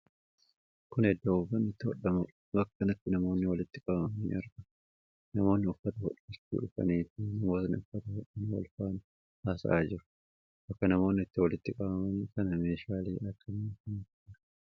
Kun iddoo uffanni itti hodhamuudha. Bakka kanatti namoonni walitti qabamanii argamu. Namoonni uffata hodhachuu dhufanii fi namooti uffata hodhan wal faana haasa'aa jiru. Bakka namoonni itti walitti qabaman kana meeshaalee akkam akkamiitu jira?